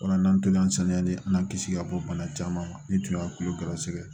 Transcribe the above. O la n'an tola an sanuyali an kisi ka bɔ bana caman ma ne tun bɛ kulo gɛrɛsɛgɛ